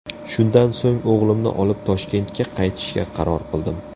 Shundan so‘ng o‘g‘limni olib Toshkentga qaytishga qaror qildim.